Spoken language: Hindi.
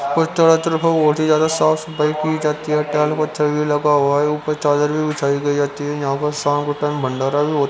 कुछ बहत ही ज्यादा सॉफ्ट की जाती है लगा हुआ है ऊपर चादर भी बिछाई गैहै है --